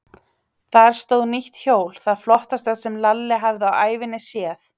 Þar stóð nýtt hjól, það flottasta sem Lalli hafði á ævinni séð.